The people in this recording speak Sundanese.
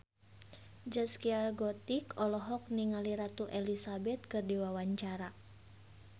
Zaskia Gotik olohok ningali Ratu Elizabeth keur diwawancara